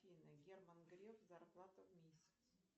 афина герман греф зарплата в месяц